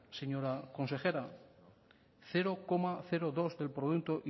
señora consejera cero coma dos del producto